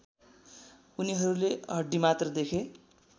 उनीहरूले हड्डीमात्र देखे